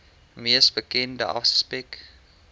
mees bekende aspek